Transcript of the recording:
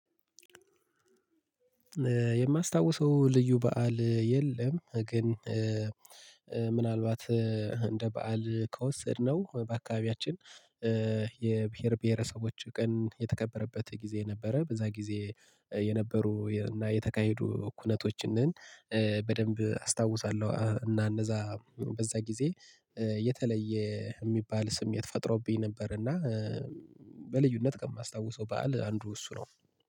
የማስታውሰው ልዩ በዓል የለም ግን ምናልባት እንደ በዓል ከወሰድነው በአካባቢያችን የብሄር ብሄረሰቦች ቀን የተከበረበት ጊዜ ነበረ በዛ ጊዜ የነበሩ እና የተካሄዱ ኩነቶችን ንን በደንብ አስታውሳለሁ እና እንደዛ በዛ ጊዜ የተለየ የሚባል ስም የተፈጥሮብኝ ነበር እና በልዩነት ከማስታውሰው በዓል አንዱ እሱ ነው።